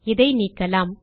இதை நீக்கலாம்